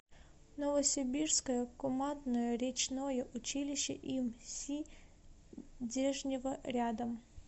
новосибирское командное речное училище им си дежнева рядом